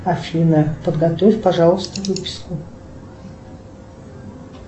афина подготовь пожалуйста выписку